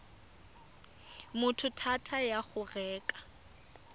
motho thata ya go reka